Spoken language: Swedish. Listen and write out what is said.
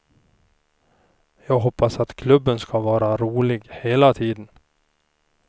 Jag hoppas att klubben skall vara rolig hela tiden.